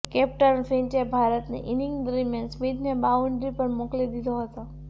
captain ફિંચે ભારતની inning દરમિયાન સ્મિથને બાઉન્ડ્રી પર મોકલી દીધો હતો